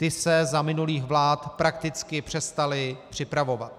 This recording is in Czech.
Ty se za minulých vlád prakticky přestaly připravovat.